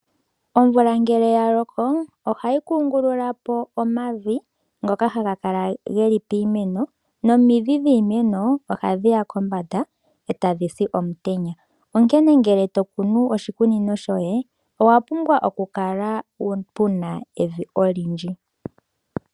Omvula ngele ya loko ohayi kungululapo omavi ngoka geli piimeno nomidhi dhiimeno oha dhiya kombanda etadhi si omutenya. Onkene ngele tokunu oshikunino shoye opwa pumbwa oku kala puna evi olindji.